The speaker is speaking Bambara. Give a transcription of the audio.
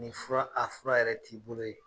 Nin fura a fura yɛrɛ t'i bolo ye.